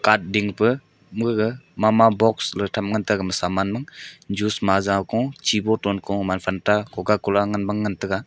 ding pe me gaga mama boxes le tham ngan tega saman mang juice ma ja kung chi boton kung gaman fenta cocacola ngan bang ngan tega.